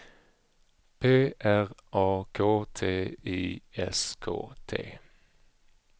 P R A K T I S K T